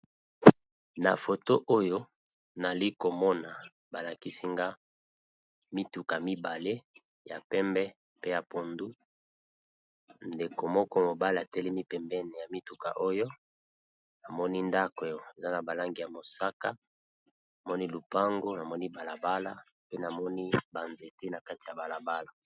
Na foto oyo namoni balakisi nga mituka mibale ya pembe na ya mayi ya pondu ndeko moko mobali atelemi pembeni namoni ndako ya langi ya mosaka namoni lopango na moni ba nzete na balabala.